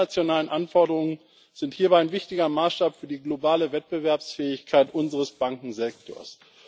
Die internationalen Anforderungen sind hierbei ein wichtiger Maßstab für die globale Wettbewerbsfähigkeit unseres Bankensektors.